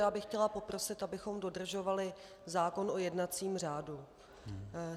Já bych chtěla poprosit, abychom dodržovali zákon o jednacím řádu.